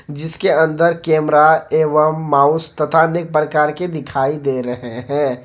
जिसके अंदर कैमरा एवं माउस तथा अनेक प्रकार के दिखाई दे रहे हैं।